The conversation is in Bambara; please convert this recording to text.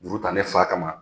Muru ta ne fa ka ma !